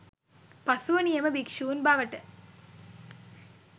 පසුව නියම භික්ෂූන් බවට